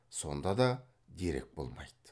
сонда да дерек болмайды